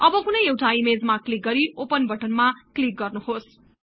अब कुनै एउटा ईमेजमा क्लिक गरी ओपन बटनमा क्लिक गर्नुहोस्